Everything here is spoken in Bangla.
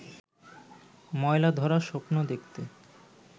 ময়লা-ধরা স্বপ্ন দেখতে